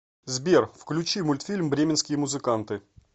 сбер включи мультфильм бременские музыканты